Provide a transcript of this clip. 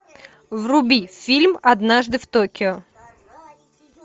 вруби фильм однажды в токио